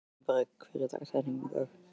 Embrek, hver er dagsetningin í dag?